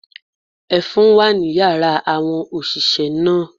Ẹfun wà ní yàrá àwọn òṣìṣẹ́ náà.